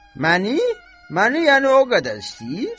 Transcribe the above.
Məni, məni yəni o qədər istəyir?